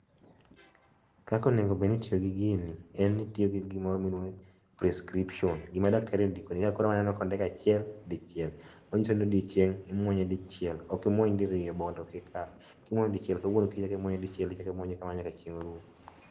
Kaka onego obed ni itiyo gi gini en ni itiyo gi gimoro miluongo ni prescription, gima daktari ondikoni kaka koro waneno kondik achiel dichiel. Manyiso ni odiochieng' imuonye dichiel, ok imuony diriyo bondo kik kal. Kimuonyo dichiel kawuono, kiny ichak imuonyo dichiel ichak imuonye kamano nyaka chieng' orum.